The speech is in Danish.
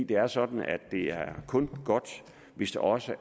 det er sådan at det kun er godt hvis det også